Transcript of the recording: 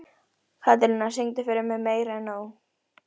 Að vísu átti lögmaður minn mestan heiður af því.